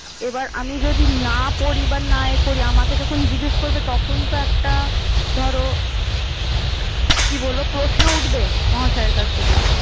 এবার আমি যদি না পড়ি বা না এ করি। আমাকে যখন জিজ্ঞেস করবে তখন তো একটা ধরো কি বলবো? প্রশ্ন উঠবে। মহাশয়ের কাছ থেকে।